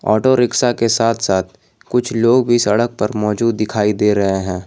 Auto rickshaw के साथ साथ कुछ लोग भी सड़क पर मौजूद दिखाई दे रहे हैं।